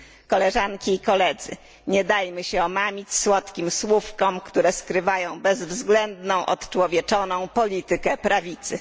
Koleżanki i Koledzy, nie dajmy się omamić słodkim słówkom, które skrywają bezwzględną, odczłowieczoną politykę prawicy.